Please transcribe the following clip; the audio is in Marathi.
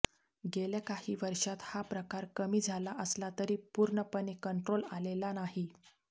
गेल्या काही वर्षांत हा प्रकार कमी झाला असला तरी पूर्णपणे कंट्रोल आलेले नाही